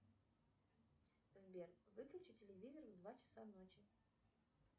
сбер выключи телевизор в два часа ночи